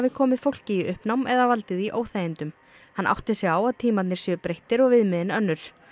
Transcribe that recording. komið fólki í uppnám eða valdið því óþægindum hann átti sig á að tímarnir séu breyttir og viðmiðin önnur